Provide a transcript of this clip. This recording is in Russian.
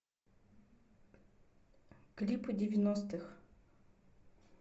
клипы девяностых